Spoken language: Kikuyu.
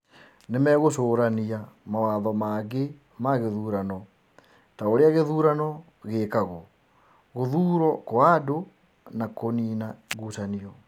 Nĩ megũcũrania mawatho mangĩ ma gĩthurano, ta ũrĩa gĩthurano gĩĩkagũo, gũthuurwo kwa andũ, na kũniina ngucanio.